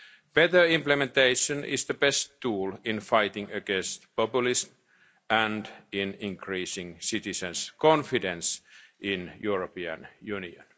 Better implementation is the best tool in fighting populism and in increasing citizens' confidence in the European